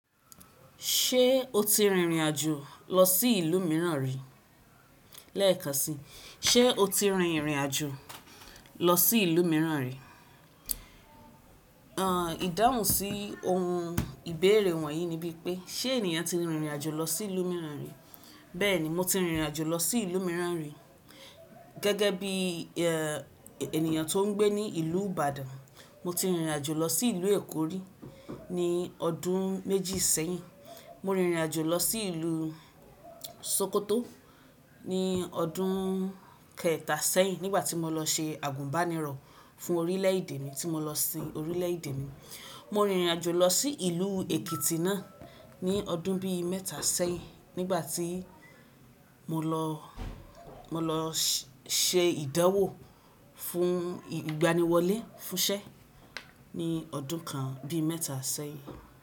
Ṣé o ti rìnrìn àjò lọ sí ìlú mìíràn rí? Lẹ́ẹ̀kan si, ṣe o ti rìn rìn àjò lọ sí ìlú mìíràn rí? Àn ìdáhùn sí ohun ìbéèrè wọ̀nyí ni bíi pé, ṣe ènìyàn ti rìn rìn àjò lọ sí ìlú mìíràn rí? Bẹ́ẹ̀ni, mo ti rìn rìn àjò lọ sí ìlú mìíràn rí. Gẹ́gẹ́ bíi ẹ ènìyàn tó ń gbé ní ìlú Ìbàdàn, mo ti rìn rìn àjò lọ sí ìlú Èkó rí ní ọdún méjì sẹ́yìn. Mo rìn rìn àjò lọ sí ìlú Sókótó ní ọdún kẹẹ̀ta sẹ́yìn nígbà tí mo lọ ṣe àgùnbánirọ̀ fún orílẹ̀ èdè mi tí mo lọ sin orílẹ̀ èdè mi. Mo rìn rìn àjò lọ sí ìlú Èkìtì náà ní ọdún bíi mẹ́ta sẹ́yìn nígbà tí mo lọ, mo lọ ṣẹ ìdánwò fún ìgbaniwọlé fúnṣẹ́ ní ọdún kan bíi mẹ́ta sẹ́yìn.